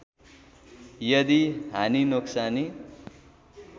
यदि हानि नोक्सानी